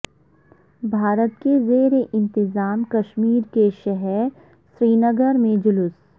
بھارت کے زیر انتظام کشمیر کے شہر سرینگر میں جلوس